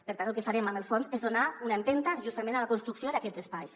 per tant el que farem amb els fons és donar una empenta justament a la construcció d’aquests espais